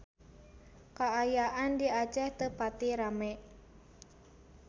Kaayaan di Aceh teu pati rame